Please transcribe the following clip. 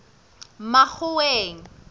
makgoweng